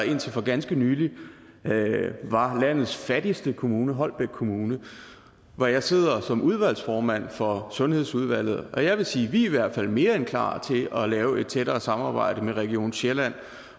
indtil for ganske nylig var landets fattigste kommune holbæk kommune hvor jeg sidder som udvalgsformand for sundhedsudvalget jeg vil sige at vi i hvert fald er mere end klar til at lave et tættere samarbejde med region sjælland